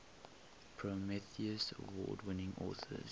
prometheus award winning authors